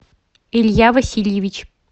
илья васильевич